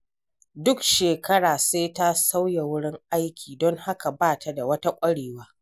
Duk shekara sai ta sauya wurin aiki, don haka ba ta da wata ƙwarewa.